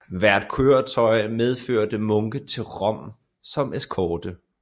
Hvert køretøj medførte munke til Rom som eskorte